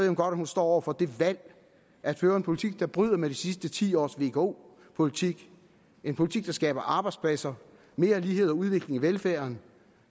hun godt at hun står over for det valg at føre en politik der bryder med de sidste ti års vko politik en politik der skaber arbejdspladser mere lighed og udvikling i velfærden